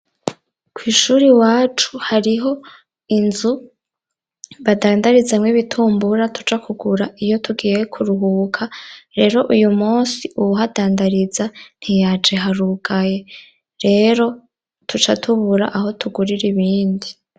Kw'ishure iwacu hariho inzu badandarizamwo ibitumbura tuja kugura iyo tugiye kuruhuka. Rero uyu munsi, uwuhadandariza ntiyaje harugaye. Rero duca tubura aho tugurira ibindi.